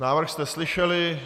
Návrh jste slyšeli.